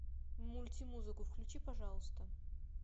мультимузыку включи пожалуйста